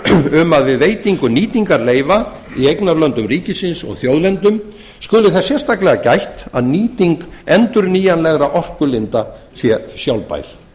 um að við veitingu nýtingarleyfa í eignarlöndum ríkisins og þjóðlendum skuli þess sérstaklega gætt að nýting endurnýjanlegra orkulinda sé sjálfbær